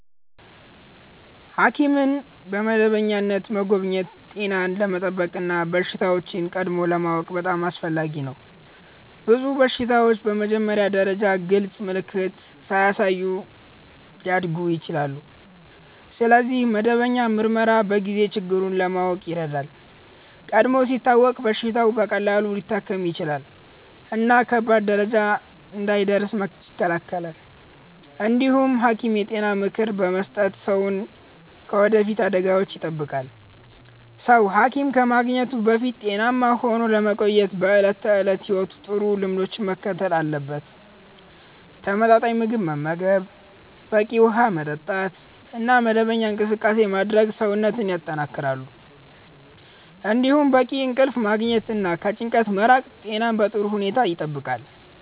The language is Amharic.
ሐኪምን በመደበኛነት መጎብኘት ጤናን ለመጠበቅ እና በሽታዎችን ቀድሞ ለማወቅ በጣም አስፈላጊ ነው። ብዙ በሽታዎች በመጀመሪያ ደረጃ ግልጽ ምልክት ሳያሳዩ ሊያድጉ ይችላሉ፣ ስለዚህ መደበኛ ምርመራ በጊዜ ችግሩን ለማወቅ ይረዳል። ቀድሞ ሲታወቅ በሽታው በቀላሉ ሊታከም ይችላል እና ከባድ ደረጃ እንዳይደርስ ይከላከላል። እንዲሁም ሐኪም የጤና ምክር በመስጠት ሰውን ከወደፊት አደጋዎች ይጠብቃል። ሰው ሐኪም ከማግኘቱ በፊት ጤናማ ሆኖ ለመቆየት በዕለት ተዕለት ሕይወቱ ጥሩ ልምዶችን መከተል አለበት። ተመጣጣኝ ምግብ መመገብ፣ በቂ ውሃ መጠጣት እና መደበኛ እንቅስቃሴ ማድረግ ሰውነትን ያጠናክራሉ። እንዲሁም በቂ እንቅልፍ ማግኘት እና ከጭንቀት መራቅ ጤናን በጥሩ ሁኔታ ይጠብቃል።